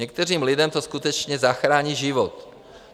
Některým lidem to skutečně zachrání život.